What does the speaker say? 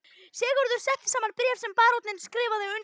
Sigurður setti saman bréf sem baróninn skrifaði undir.